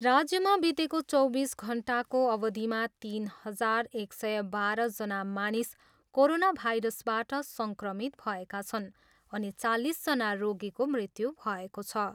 राज्यमा बितेको चौबिस घन्टाको अवधिमा तिन हजार एक सय बाह्रजना मानिस कोरोना भाइरसबाट सङ्क्रमित भएका छन् अनि चालिसजना रोगीको मृत्यु भएको छ।